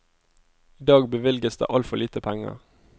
I dag bevilges det altfor lite penger.